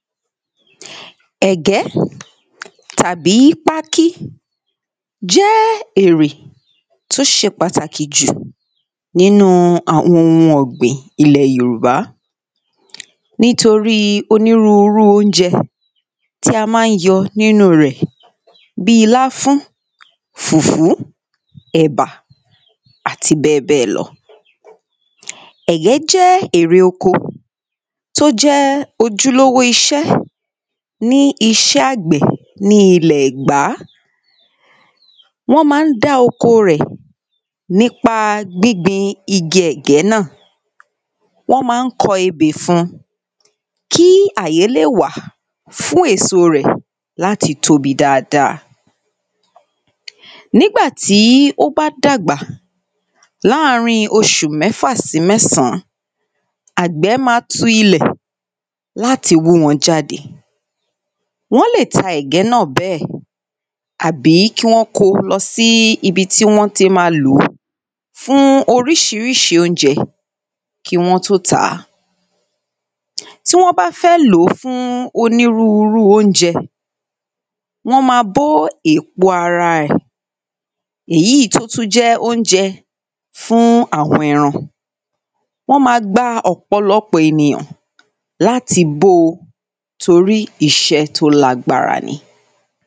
E̩gé̩ tàbí pákí jé̩ èrè tó s̩e pàtàkì jù nínú-un àwo̩n ohun o̩gbìn ilè̩ Yorùbá. Nítorí onírúurú oúnje̩ tí a má ń yo̩ nínú-un rè̩ bíi láfún, fùfú, è̩bà àti bé̩è̩bé̩è̩ lo̩. È̩gé̩ jé̩ èrè oko tó jé̩ ojúlówó is̩é̩ ní is̩é̩ àgbè̩ ní ilè̩ È̩gbá. Wó̩n má ń dá oko rè̩ nípa gbígbin igi è̩gé̩ náà. Wó̩n ma ń kò̩ ebè fun kí àyè lè wà fún èso rè̩ láti tóbi dáadáa. Nígbà tí ó bá dàgbà láàrín os̩ù mé̩fà sí mé̩sàn-án, àgbè̩ ma tu ilè̩ láti wú wo̩n jáde. Wó̩n lè ta è̩gé̩ náà bé̩è̩ àbí kí wó̩n kó o lo̩ sí ibi tí wó̩n ti ma lò ó fún orís̩írís̩í oúnje̩ kí wó̩n tó tà á. Tí wó̩n bá fé̩ lò ó fún onírúurú oúnje̩, wó̩n ma bó èpo ara rè̩, èyí tó tún jé̩ oúnje̩ fún àwo̩n e̩ran. Wó̩n ma gba ò̩pò̩lo̩pò̩ ènìyàn láti bó o torí isé̩ tó lágbára ni.